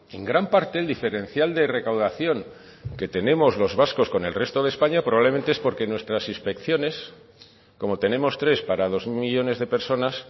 en gran parte el diferencial de recaudación que tenemos los vascos con el resto de españa probablemente es porque nuestras inspecciones como tenemos tres para dos millónes de personas